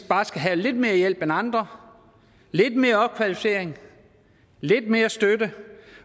bare skal have lidt mere hjælp end andre lidt mere opkvalificering lidt mere støtte